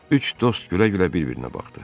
Üç dost gülə-gülə bir-birinə baxdı.